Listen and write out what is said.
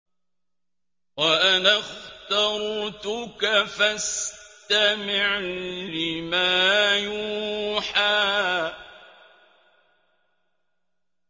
وَأَنَا اخْتَرْتُكَ فَاسْتَمِعْ لِمَا يُوحَىٰ